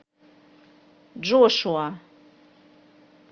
джошуа